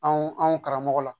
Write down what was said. Anw anw karamɔgɔ la